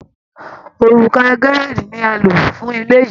Òrùlé Gerrald ni a lò fún ilé yìí